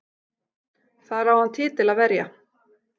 Þar á hann titil að verja